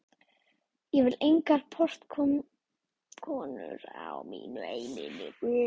Ég vil engar portkonur á mínu heimili.